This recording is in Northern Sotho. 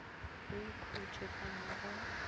o ikhutše ka mo go